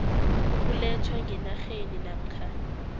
ukulethwa ngenarheni namkha